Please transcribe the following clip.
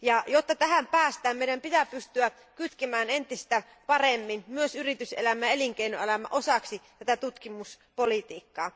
Jotta tähän päästään, meidän pitää pystyä kytkemään entistä paremmin yritys ja elinkeinoelämä osaksi tutkimuspolitiikkaa.